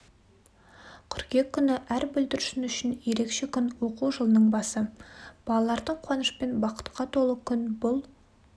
қыркүйек күні әр бүлдіршін үшін ерекше күн оқу жылының басы балалардың қуанышпен бақытқа толы күн бұл